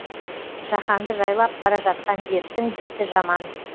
жаһанды жайлап бара жатқан дерттің беті жаман